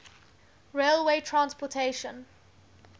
railway transportation